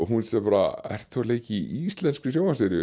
hún segir ertu leika í íslenskri